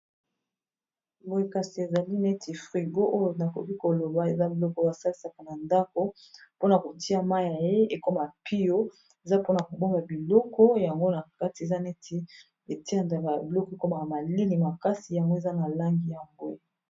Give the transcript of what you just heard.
Boye kasi ezali neti frigo oyo nakoki koloba eza biloko asalisaka na ndako mpona kotia mai naye ekoma pio eza mpona kobonga biloko yango na kati eza neti etiandaka y biloko ekomaka malili makasi yango eza na langi ya mbwe